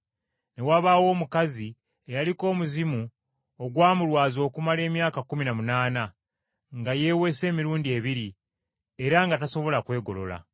ne wabaawo omukazi eyaliko omuzimu ogwamulwaza okumala emyaka kkumi na munaana, nga yeewese emirundi ebiri era nga tasobola kwegolola.